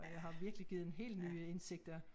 Har virkelig givet en helt nye indsigter